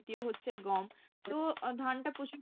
দ্বিতীয় হচ্ছে গম তো আহ ধান টা প্রচুর